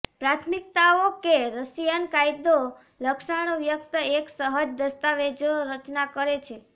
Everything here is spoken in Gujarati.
પ્રાથમિકતાઓ કે રશિયન કાયદો લક્ષણ વ્યક્ત એક સહજ દસ્તાવેજો રચના કરે છે